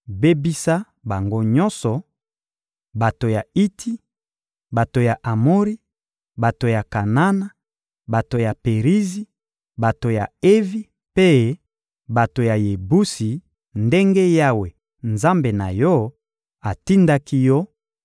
Bebisa bango nyonso: bato ya Iti, bato ya Amori, bato ya Kanana, bato ya Perizi, bato ya Evi mpe bato ya Yebusi, ndenge Yawe, Nzambe na yo, atindaki yo